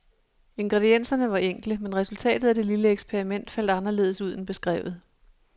Ingredienserne var enkle, men resultatet af det lille eksperiment faldt anderledes ud end beskrevet.